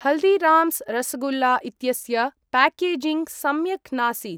हल्दिराम्स् रसगुल्ला इत्यस्य प्याकेजिङ्ग् सम्यक् नासीत्।